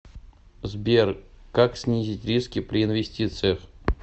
сбер как снизить риски при инвестициях